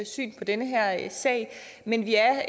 syn på den her sag men vi er